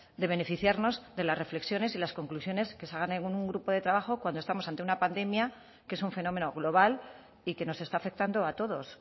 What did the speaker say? de beneficiarnos de las reflexiones y las conclusiones que salgan en un grupo de trabajo cuando estamos ante una pandemia que es un fenómeno global y que nos está afectando a todos